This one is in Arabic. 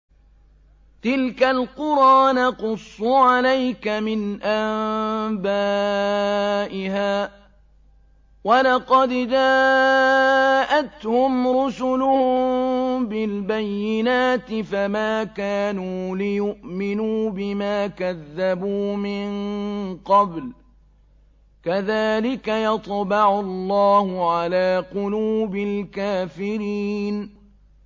تِلْكَ الْقُرَىٰ نَقُصُّ عَلَيْكَ مِنْ أَنبَائِهَا ۚ وَلَقَدْ جَاءَتْهُمْ رُسُلُهُم بِالْبَيِّنَاتِ فَمَا كَانُوا لِيُؤْمِنُوا بِمَا كَذَّبُوا مِن قَبْلُ ۚ كَذَٰلِكَ يَطْبَعُ اللَّهُ عَلَىٰ قُلُوبِ الْكَافِرِينَ